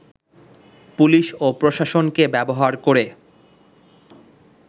police ও প্রশাসনকে ব্যবহার করে